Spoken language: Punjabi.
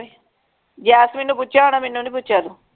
ਯਾਸਮੀਨ ਨੂੰ ਪੁੱਛਿਆ ਹੋਣਾ ਮੈਨੂੰ ਨਹੀਂ ਪੁੱਛਿਆ ਜੇ